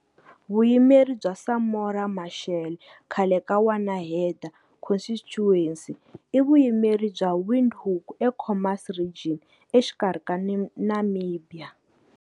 Vuyimeri byaSamora Machel, khale ka Wanaheda Constituency, i vuyimeri bya Windhoek eKhomas Region exikarhi ka Namibia.